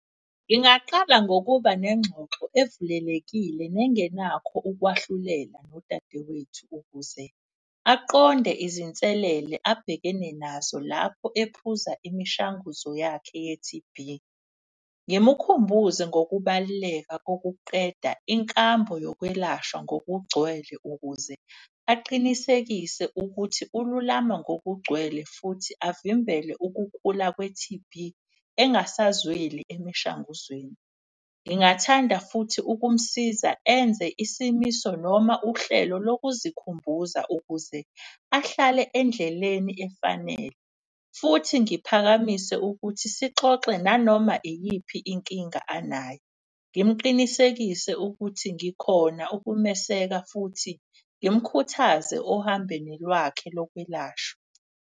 Ngingaqala ngokuba nengxoxo evulelekile nengenakho ukwahlulela nodadewethu ukuze aqonde izinselele abhekene nazo lapho ephuza imishanguzo yakhe ye-T_B. Ngimukhumbuze ngokubaluleka kokuqeda inkambo yokwelashwa ngokugcwele ukuze aqinisekise ukuthi ululama ngokugcwele. Futhi avimbele ukukhula kwe-T_B engasazweli emishanguzweni. Ngingathanda futhi ukumsiza enze isimiso noma uhlelo lokuzikhumbuza ukuze ahlale endleleni efanele. Futhi ngiphakamise ukuthi sixoxe nanoma iyiphi inkinga anayo, ngimuqinisekise ukuthi ngikhona ukumeseka, futhi ngimkhuthaze ohambeni lwakhe lokwelashwa.